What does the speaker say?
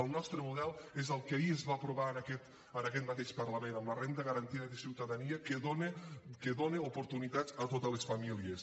el nostre model és el que ahir es va aprovar en aquest mateix parlament amb la renda garantida de ciutadania que dona oportunitats a totes les famílies